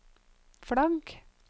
flagg